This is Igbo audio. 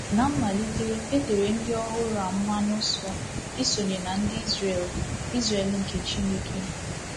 Ná mmalite, e tere ndị ọhụrụ a mmanụ nsọ isonye na ndị Izrel Izrel nke Chineke.